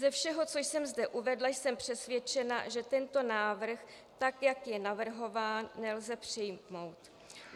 Ze všeho, co jsem zde uvedla, jsem přesvědčena, že tento návrh, tak jak je navrhován, nelze přijmout.